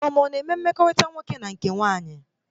Adaoma ana eme mmekọrịta nwoke ma nke nwaanyị?